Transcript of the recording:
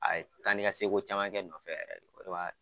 A ye taa ni ka segin ko caman kɛ n nɔfɛ yɛrɛ